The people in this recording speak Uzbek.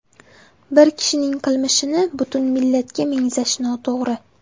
Bir kishining qilmishini butun millatga mengzash noto‘g‘ri!